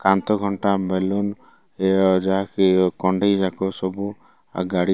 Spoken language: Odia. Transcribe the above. କାନ୍ଥ ଘଣ୍ଟା ବେଲୁନ ଏ ଯାହା କି କଣ୍ଢେଇ ଯାକ ସବୁ ଆ ଗାଡି --